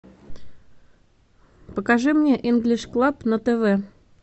покажи мне инглиш клаб на тв